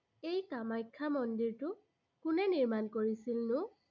সেই কামাখ্যা মন্দিৰটো কোনে নিৰ্মাণ কৰিছিলনো?